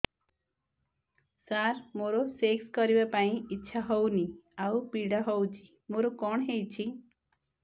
ସାର ମୋର ସେକ୍ସ କରିବା ପାଇଁ ଇଚ୍ଛା ହଉନି ଆଉ ପୀଡା ହଉଚି ମୋର କଣ ହେଇଛି